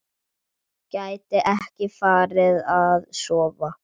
Gæti ekki farið að sofa.